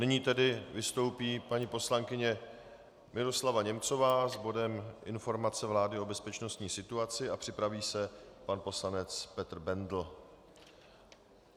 Nyní tedy vystoupí paní poslankyně Miroslava Němcová s bodem informace vlády o bezpečnostní situaci a připraví se pan poslanec Petr Bendl.